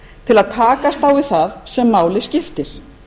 til að takast á við það sem máli skiptir